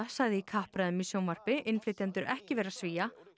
sagði í kappræðum í sjónvarpi innflytjendur ekki vera Svía